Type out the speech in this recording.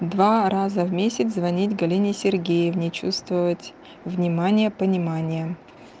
два раза в месяц звонить галине сергеевне чувствовать внимание понимание